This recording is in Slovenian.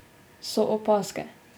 So opazke.